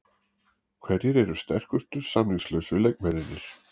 Hverjir eru sterkustu samningslausu leikmennirnir?